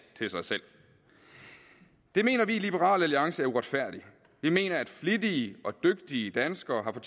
til sig selv det mener vi i liberal alliance er uretfærdigt vi mener at flittige og dygtige danskere har